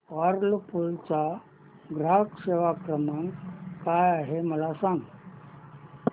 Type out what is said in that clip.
Whirlpool चा ग्राहक सेवा क्रमांक काय आहे मला सांग